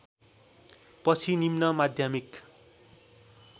पछि निम्न माध्यमिक